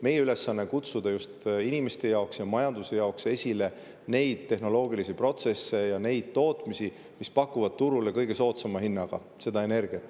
Meie ülesanne on kutsuda just inimeste jaoks ja majanduse jaoks esile neid tehnoloogilisi protsesse ja neid tootmisi, mis pakuvad turule kõige soodsama hinnaga energiat.